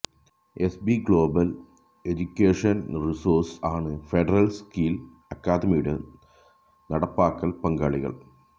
SB Global Education Resources ആണ് Federal Skill അക്കാദമിയുടെ നടപ്പാക്കൽ പങ്കാളികൾ